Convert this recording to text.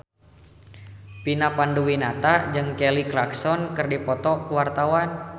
Vina Panduwinata jeung Kelly Clarkson keur dipoto ku wartawan